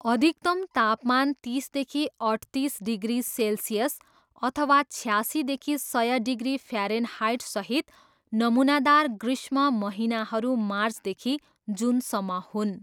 अधिकतम तापमान तिसदेखि अठतिस डिग्री सेल्सियस अथवा छयासीदेखि सय डिग्री फ्यारेनहाइटसहित नमुनादार गृष्म महिनाहरू मार्चदेखि जुनसम्म हुन्।